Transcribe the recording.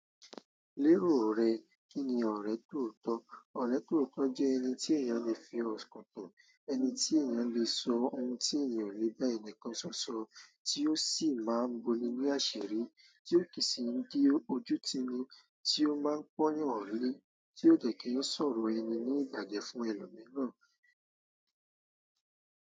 Lérò rẹ, kíni ọ̀rẹ́ tóotọ́? Ọrẹ tootọ jẹ ẹni ti eeyan le fi ọkan tan ẹni tí èèyàn lè sọ ohun tí ènìyàn o le ba ẹnìkan ṣọ sọ, tí ó sì máa ń boní ni àṣírí, tí ó kì í sì ń di ojú tiní, tí ó má ń pọ́n eeyan lé, tí ó dẹ kí ó sọ̀rọ̀ ẹni ní ìbajẹ fún ẹlòmíràn.